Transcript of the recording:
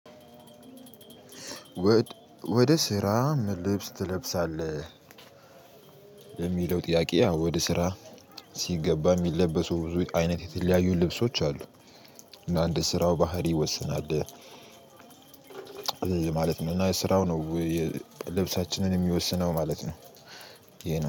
ወደ ስራ ምን ልብስ ትለብሳለህ? የሚለው ጥያቄ ወደ ስራ ሲገባ የሚለበሱ ብዙ አይነት የተለያዩ ልብሶች አሉ። እና እንደ ስራው ባህሪ ይወስናል ማለት ነው። እና ስራው ነው ልብሳችንን የሚወስነው ማለት ነው። ይሄ ነው